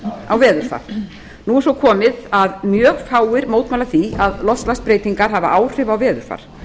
loftslagsbreytinga á veðurfar nú er svo komið að mjög fáir mótmæla því að loftslagsbreytingar hafi áhrif á veðurfar